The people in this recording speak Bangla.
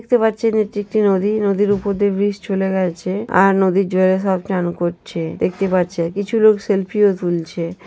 দেখতে পাচ্ছেন এটি একটি নদী নদীর উপর দিয়ে ব্রিজ চলে গেছে আর নদীর জলে সব চান করছে দেখতে পাচ্ছে কিছু লোক সেলফি ও তুলছে।